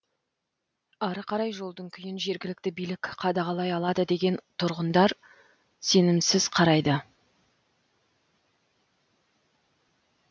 ары қарай жолдың күйін жергілікті билік қадағалай алады дегенге тұрғындар сенімсіз қарайды